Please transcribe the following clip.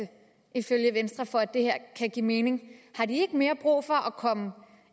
ifølge venstre for at det her kan give mening har de ikke mere brug for at komme